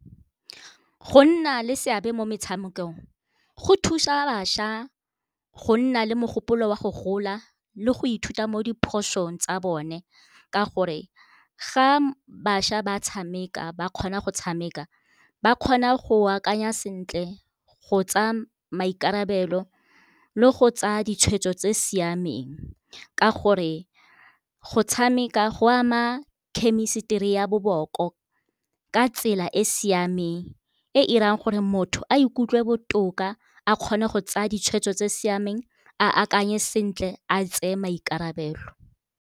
Go nna le seabe mo metshamekong go thusa bašwa go nna le mogopolo wa go gola le go ithuta mo diphosong tsa bone, ka gore ga bašwa ba tshameka ba kgona go tshameka ba kgona go akanya sentle go tsa maikarabelo le go tsaya ditshwetso tse siameng. Ka gore go tshameka go ama khemisitiri ya boboko ka tsela e siameng, e irang gore motho a ikutlwe botoka a kgone go tsaya ditshwetso tse siameng a akanye sentle a tseye maikarabelo.